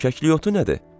Kəklikyotu nədir?